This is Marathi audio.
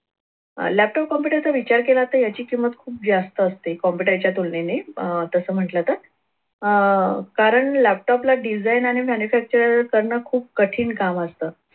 laptop computer चा विचार केला तर याची किंमत खूप जास्त असते. computer च्या तुलनेने अह तसं म्हटलं तर अह कारण laptop ला design आणि manufacturer करणं खूप कठीण काम असतं.